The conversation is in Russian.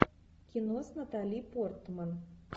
кино с натали портман